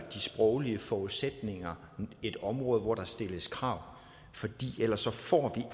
sproglige forudsætninger et område hvor der stilles krav for ellers får vi